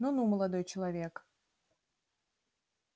ну-ну молодой человек